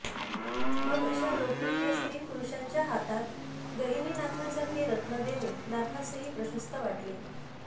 मग अशा लोकप्रिय स्त्रीपुरुषांच्या हातात गहिनीनाथांसारखे रत्न देणे नाथासहि प्रशस्त वाटले